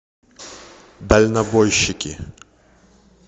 дальнобойщики